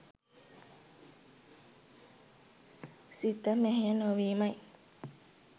සිත මෙහෙය නොවීමයි.